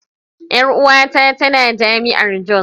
Yar uwata tana jami'ar jos.